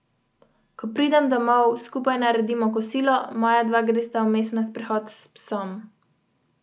Letos bo pripravljenih vseh sedem načrtov za kakovost zraka.